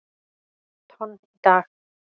tonn í dag.